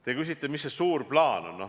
Te küsite, mis see suur plaan on.